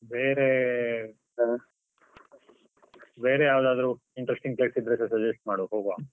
ಬೇರೆ no speech ಬೇರೆ ಯಾವುದಾದರೂ interesting places ಇದ್ರೆ ಸಹ suggest ಮಾಡುವ ಹೋಗುವ.